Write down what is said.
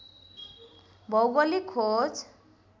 भौगोलिक खोज